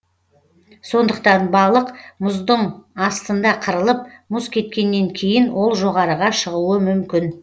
сондықтан балық мұздың астында қырылып мұз кеткеннен кейін ол жоғарыға шығуы мүмкін